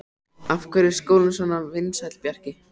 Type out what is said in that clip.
Af hverju er skólinn svona vinsæll, Bjarki?